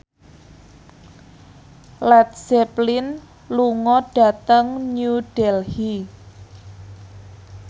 Led Zeppelin lunga dhateng New Delhi